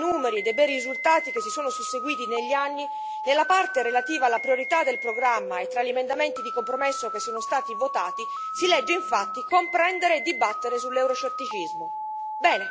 Al di là dei bei numeri e dei bei risultati che si sono susseguiti negli anni, nella parte relativa alla priorità del programma e tra gli emendamenti di compromesso che sono stati votati, si legge infatti comprendere e dibattere sull'euroscetticismo.